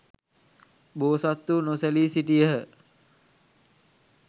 බෝසත්හු නොසැලී සිටියහ.